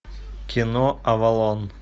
кино авалон